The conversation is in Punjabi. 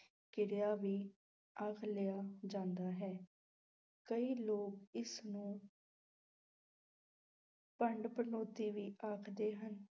ਕਿਰਿਆ ਵੀ ਆਖ ਲਿਆ ਜਾਂਦਾ ਹੈ, ਕਈ ਲੋਕ ਇਸ ਨੂੰ ਭੰਡ-ਭੰਡੌਤੀ ਵੀ ਆਖਦੇ ਹਨ।